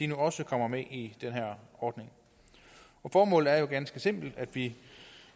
nu også kommer med i den her ordning formålet er jo ganske simpelt at vi